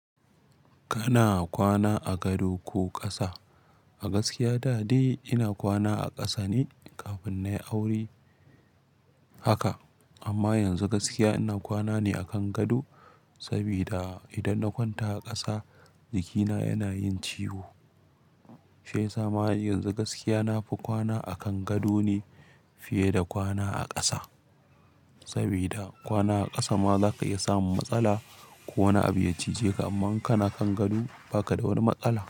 Kana kwana a gado ko ƙasa? A gaskiya da dai ina kwana a ƙasa ne kafin nayi aure haka. Amma yanzu gaskiya ina kwana ne akan gado, sabida idan na kwanta a ƙasa jikina yana yin ciwo. Shiyasa ma har yanzu gaskiya nafi kwana akan gado ne fiye da kwana a ƙasa. Sabida kwana a ƙasa ma zaka iya samun matsala ko wani abu ya cije ka. Amman in kana kan gado baka da wani matsala.